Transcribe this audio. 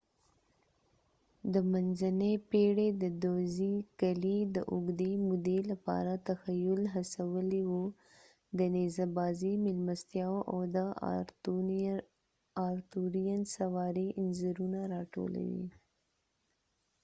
د منځنۍ پېړۍ دودیزې قلعې د اوږدې مودې لپاره تخیل هڅولی و د نيزه بازی میلمستیاو او د آرتورېئن سواری انځورونه راټولوي